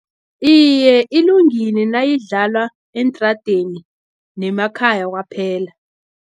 Iye, ilungile nayidlalwa eentradeni nemakhaya kwaphela.